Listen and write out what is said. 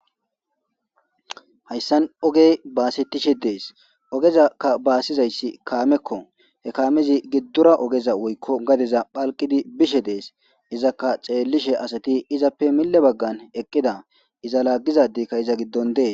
hayssan ogey baasettishe dees ogezakka baasizayssi kaamekko he kaamezi giddora ogeza woykko gadeza phalqidi bishe dees izakka ceellishe asati izappe mille baggan eqqida iza laaggizadikka iza giddon dee